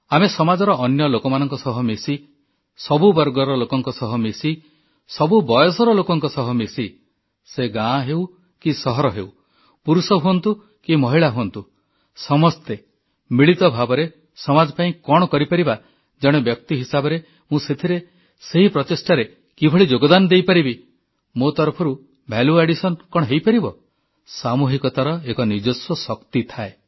ଆମେ ସମାଜର ଅନ୍ୟ ଲୋକମାନଙ୍କ ସହ ମିଶି ସବୁ ବର୍ଗର ଲୋକଙ୍କ ସହ ମିଶି ସବୁ ବୟସର ଲୋକଙ୍କ ସହ ମିଶି ସେ ଗାଁ ହେଉ କି ସହର ହେଉ ପୁରୁଷ ହୁଅନ୍ତୁ କି ମହିଳା ହୁଅନ୍ତୁ ସମସ୍ତେ ମିଳିତ ଭାବରେ ସମାଜ ପାଇଁ କଣ କରିପାରିବା ଜଣେ ବ୍ୟକ୍ତି ହିସାବରେ ମୁଁ ସେଥିରେ ସେହି ପ୍ରଚେଷ୍ଟାରେ କିଭଳି ଯୋଗଦାନ ଦେଇପାରିବି ମୋ ତରଫରୁ ଭାଲ୍ୟୁ ଆଡିଶନ୍ କଣ ହୋଇପାରିବ ସାମୁହିକତାର ଏକ ନିଜସ୍ୱ ଶକ୍ତି ଥାଏ